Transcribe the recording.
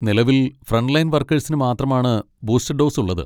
നിലവിൽ ഫ്രന്റ്ലൈൻ വർക്കേഴ്സിന് മാത്രമാണ് ബൂസ്റ്റർ ഡോസ് ഉള്ളത്.